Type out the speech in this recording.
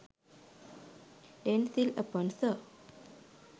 denzil aponso